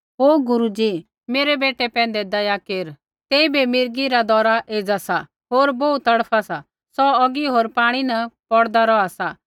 ओ गुरू जी मेरै बेटै पैंधै दया केर तेइबै मिर्गी दौरा एज़ा सा होर बोहू तड़फा सा सौ औगी होर पाणी न पौड़दा रौहा सा